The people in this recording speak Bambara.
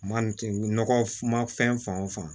Maanifin nɔgɔ ma fɛn fan o fan